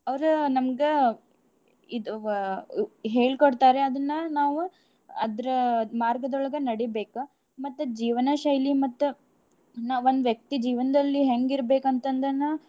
ಅವ್ರ ನಮ್ಗ ಇದ್ ವ~ ಹೇಳ್ಕೊಡ್ತಾರೆ ಅದನ್ನ ನಾವು ಅದ್ರ ಮಾರ್ಗದೋಳ್ಗ ನಡೀಬೇಕ. ಮತ್ತ ಜೀವನ ಶೈಲಿ ಮತ್ತ ನಾ~ ಒಂದ್ ವ್ಯಕ್ತಿ ಜೀವನ್ದಲ್ಲಿ ಹೆಂಗ್ ಇರ್ಬೇಕ ಅಂತಂದನ್ನ.